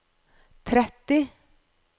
tretti